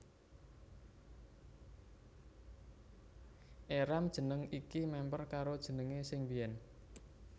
Éram jeneng iki mèmper karo jenengé sing biyèn